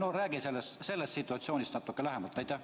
No räägi sellest situatsioonist natuke lähemalt!